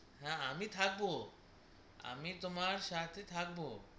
না আমি থাকবো তোমার সাথে থাকবো